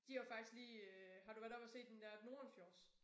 De har jo faktisk lige øh har du været oppe at se den dér Nordenfjords